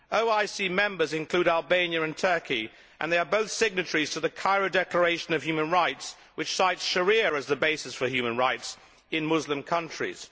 OIC members include Albania and Turkey, both of whom are signatories to the Cairo Declaration on Human Rights, which cites sharia as the basis for human rights in Muslim countries.